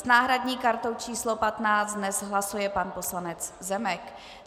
S náhradní kartou číslo 15 dnes hlasuje pan poslanec Zemek.